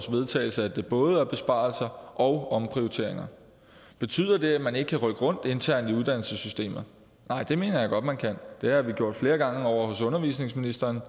vedtagelse at der både er besparelser og omprioteringer betyder det at man ikke kan rykke rundt internt i uddannelsessystemet nej det mener jeg godt man kan det har vi gjort flere gange ovre hos undervisningsministeren og